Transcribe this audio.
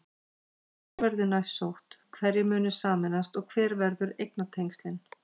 Hvar verður næst sótt, hverjir munu sameinast og hver verða eignatengslin?